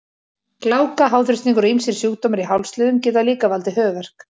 Gláka, háþrýstingur og ýmsir sjúkdómar í hálsliðum geta líka valdið höfuðverk.